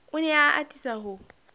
o ne a atisa ho